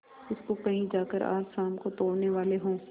उसको कहीं जाकर आज शाम को तोड़ने वाले हों